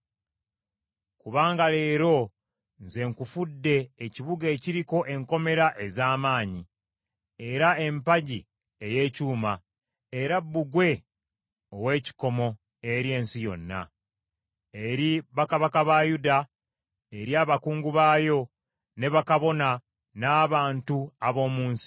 Kubanga leero nze nkufudde ekibuga ekiriko enkomera ez’amaanyi, era empagi ey’ekyuma, era bbugwe ow’ekikomo eri ensi yonna, eri bakabaka ba Yuda, eri abakungu baayo, ne bakabona n’abantu ab’omu nsi.